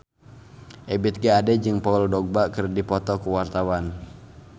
Ebith G. Ade jeung Paul Dogba keur dipoto ku wartawan